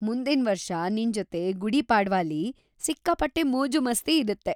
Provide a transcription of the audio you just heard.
ಮುಂದಿನ್ವರ್ಷ‌ ನಿನ್ಜೊತೆ ಗುಡಿ ಪಾಡ್ವಾಲಿ ಸಿಕ್ಕಾಪಟ್ಟೆ ಮೋಜು-ಮಸ್ತಿ ಇರತ್ತೆ!